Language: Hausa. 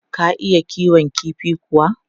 Ka iya kiwon kifi kuwa?